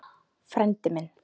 Frændi minn